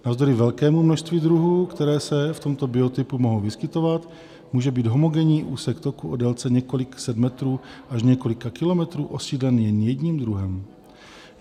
Navzdory velkému množství druhů, které se v tomto biotopu mohou vyskytovat, může být homogenní úsek toku o délce několika set metrů až několika kilometrů osídlen jen jediným druhem.